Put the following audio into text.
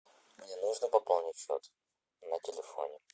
мне нужно пополнить счет на телефоне